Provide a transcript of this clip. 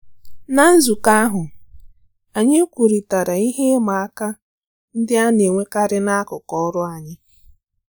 Ná nzukọ ahụ, anyị kwurịtara ihe ịma aka ndị a na-enwekarị n'akụkụ ọrụ anyị